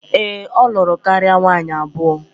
Ee, o luru karia nwaanyi abuo